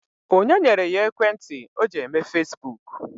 Onye nyere ya ekwentị o ji eme fasibuuku?